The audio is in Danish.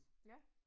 Ja